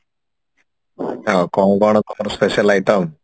ହଁ କଣ କଣ କର special item